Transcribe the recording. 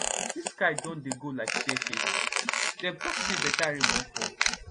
if sky don dey go like stair case dem talk say better rain wan fall